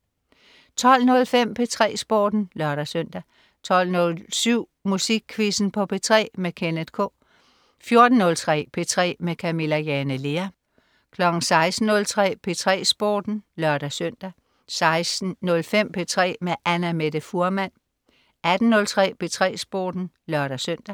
12.05 P3 Sporten (lør-søn) 12.07 Musikquizzen på P3. Kenneth K 14.03 P3 med Camilla Jane Lea 16.03 P3 Sporten (lør-søn) 16.05 P3 med Annamette Fuhrmann 18.03 P3 Sporten (lør-søn)